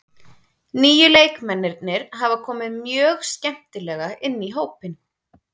Nýju leikmennirnir hafa komið mjög skemmtilega inn í hópinn.